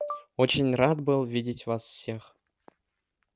очень рад был видеть вас всех